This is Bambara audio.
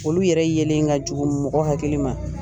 Olu yɛrɛ yelen ka jugu mɔgɔ hakili ma.